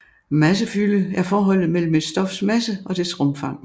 Massefylde er forholdet mellem et stofs masse og dets rumfang